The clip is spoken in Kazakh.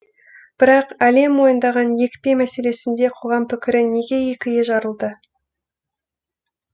бірақ әлем мойындаған екпе мәселесінде қоғам пікірі неге екіге жарылды